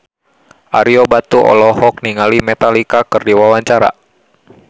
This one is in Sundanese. Ario Batu olohok ningali Metallica keur diwawancara